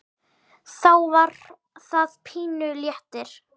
Þá var það pínu léttir.